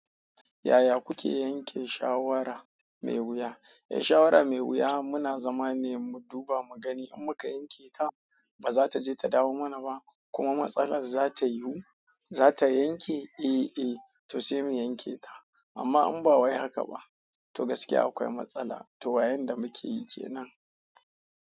Yaya kuke yanke shawara mai wuya? Eh, shawara mai wuya muna zama ne mu duba mu gani in muka yanke ta ba za taje ta dawo mana ba kuma matsalar za ta yiwu, za ta yanke, eh, eh to sai mu yanke ta. Amma in ba wai haka ba, to gaskiya akwai matsala to wayon da muke yi kenan.